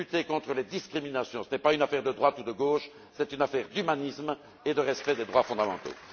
Lutter contre les discriminations, ce n'est pas une affaire de droite ou de gauche, c'est une affaire d'humanisme et de respect des droits fondamentaux.